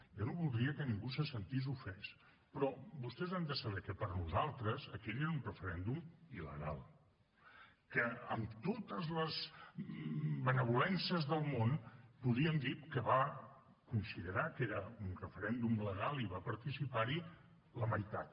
jo no voldria que ningú se sentís ofès però vostès han de saber que per nosaltres aquell era un referèndum il·legal que amb totes les benevolències del món podíem dir que va considerar que era un referèndum legal i va participar hi la meitat